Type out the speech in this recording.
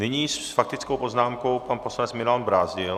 Nyní s faktickou poznámkou pan poslanec Milan Brázdil.